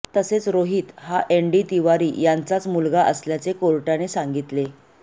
तसेच रोहित हा एनडी तिवारी यांचाच मुलगा असल्याचे कोर्टाने सांगितले